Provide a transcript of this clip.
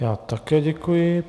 Já také děkuji.